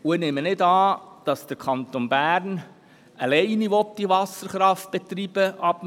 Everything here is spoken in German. Ich nehme nicht an, dass der Kanton Bern ab dem Jahr 2042 die Wasserkraft alleine betreiben will.